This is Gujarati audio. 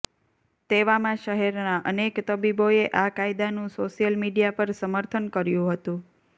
તેવામાં શહેરના અનેક તબીબોએ આ કાયદાનુ સોશિયલ મીડિયા પર સમર્થન કર્યું હતુ